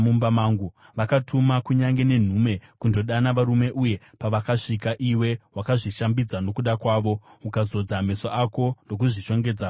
“Vakatuma kunyange nenhume kundodana varume uye pavakasvika iwe wakazvishambidza nokuda kwavo, ukazodza meso ako ndokuzvishongedza noukomba.